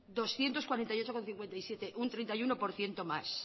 doscientos cuarenta y ocho coma cincuenta y siete un treinta y uno por ciento más